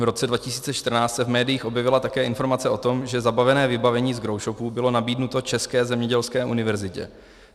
V roce 2014 se v médiích objevila také informace o tom, že zabavené vybavení z growshopů bylo nabídnuto České zemědělské univerzitě.